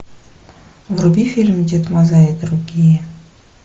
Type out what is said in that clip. вруби фильм дед мазай и другие